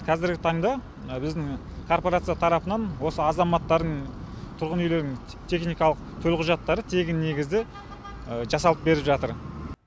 қазіргі таңда біздің коорпорация тарапынан осы азаматтардың тұрғын үйлерінің техникалық төлқұжаттары тегін негізде жасалып беріліп жатыр